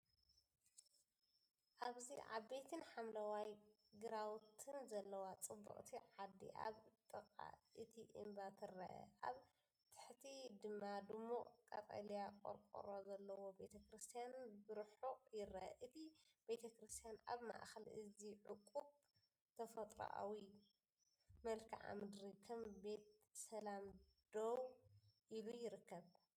ኣብዚ ኣባይትን ሓምለዋይ ግራውቲን ዘለዋ ጽብቕቲ ዓዲ ኣብ ጥቓ እቲ እምባ ትርአ። ኣብ ታሕቲ ድማ ድሙቕ ቀጠልያ ቆርቆሮ ዘለዎ ቤተክርስትያን ብርሑቕ ይርአ። እቲ ቤተክርስትያን ኣብ ማእከል እዚ ውቁብ ተፈጥሮኣዊ መልክዓ ምድሪ ከም ቤት ሰላም ደው ኢሉ ይርከብ።